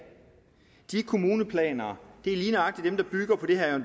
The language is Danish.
de kommuneplaner er lige nøjagtig dem der bygger på det herre